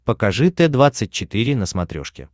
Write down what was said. покажи т двадцать четыре на смотрешке